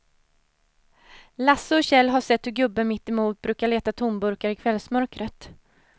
Lasse och Kjell har sett hur gubben mittemot brukar leta tomburkar i kvällsmörkret.